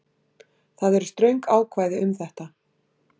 Það eru ströng ákvæði um þetta